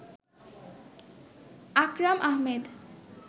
Akram Ahmed